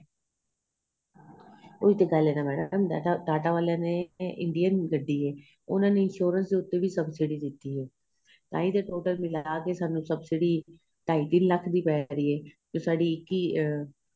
ਉਹੀ ਤਾਂ ਗੱਲ ਏ ਮੈਡਮ ਟਾਟਾਂ ਵਾਲਿਆਂ ਨੇ Indian ਗੱਡੀ ਏ ਉਹਨਾ ਨੇ insurance ਉਤੇ ਵੀ ਸਭਸਿਡੀ ਦਿੱਤੀ ਏ ਤਾਹੀ ਤੇ total ਮਿਲਾਕੇ ਸਾਨੂੰ ਸਭਸਿਡੀ ਢਾਂਈ ਤਿੰਨ ਲੱਖ਼ ਦੀ ਪੇਹ ਰਹੀ ਏ ਜੋ ਸਾਡੀ ਇੱਕੀ ਅਹ